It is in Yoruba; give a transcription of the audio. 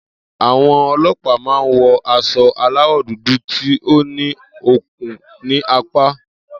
Àwo̩n o̩lo̩pàá máa ń wo̩ as̩o̩ aláwò̩ dúdú tí ó ní okùn ní apá